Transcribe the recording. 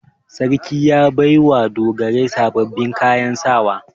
Sarki ya bai wa dogarai sababbin kayan sawa.